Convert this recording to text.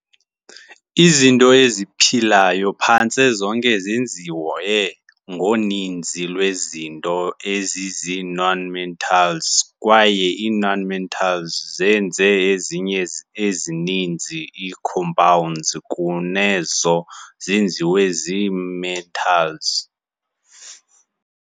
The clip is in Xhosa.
Izinto eziphilayo phantse zonke zenziwe ngoninzi lwezinto ezizii- nonmetals, kwaye ii-nonmetals zenza ezinye ezininzi ii-compounds kunezo zenziwa zii-metals.